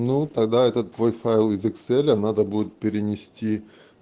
ну тогда этот твой файл из экселя надо будет перенести